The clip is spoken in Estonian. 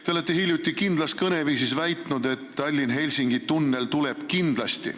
Te olete hiljuti kindlas kõneviisis väitnud, et Tallinna–Helsingi tunnel tuleb kindlasti.